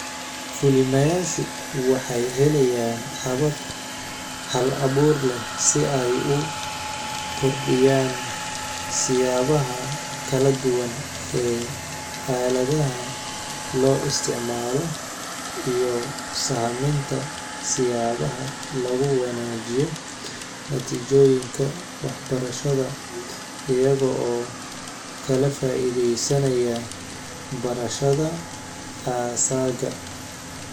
Fulinayaashu waxay helayaan habab hal abuur leh si ay u kordhiyaan siyaabaha kala duwan ee aaladaha loo isticmaalo, iyo sahaminta siyaabaha lagu wanaajinayo natiijooyinka waxbarashada iyaga oo ka faa'iidaysanaya barashada asaaga.